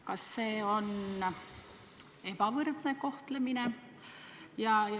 Kas see on ebavõrdne kohtlemine?